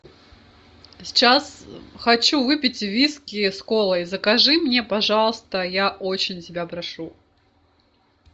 сейчас хочу выпить виски с колой закажи мне пожалуйста я очень тебя прошу